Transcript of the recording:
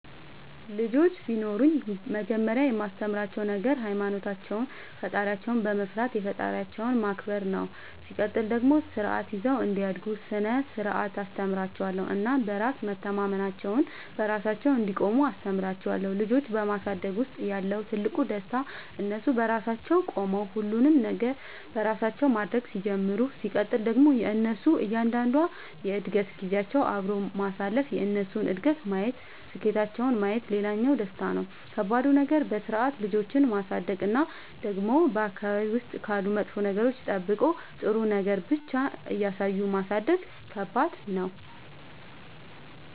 ልጆች ቢኖሩኝ መጀመሪያ የማስተምራቸዉ ነገር ሃይማኖታቸውን ፈጣሪያቸውን መፍራት የፈጠራቸውን ማክበር ነው ሲቀጥል ደግሞ ስርዓት ይዘው እንዲያድጉ ስነ ስርዓት አስተምራችኋለሁ እናም በራስ መተማመናቸውን, በራሳቸው እንዲቆሙ አስተምራቸዋለሁ። ልጆች በማሳደግ ውስጥ ያለው ትልቁ ደስታ እነሱ በራሳቸው ቆመው ሁሉንም ነገር በራሳቸው ማድረግ ሲጀምሩ ሲቀጥል ደግሞ የእነሱን እያንዳንዷን የእድገት ጊዜያቸውን አብሮ ማሳለፍ የእነሱን እድገት ማየት ስኬታቸውን ማየት ሌላኛው ደስታ ነው። ከባዱ ነገር በስርዓት ልጆችን ማሳደግ እና ደግሞ በአካባቢ ውስጥ ካሉ መጥፎ ነገሮች ጠብቆ ጥሩ ነገር ብቻ እያሳዩ ማሳደግ ከባድ ነው።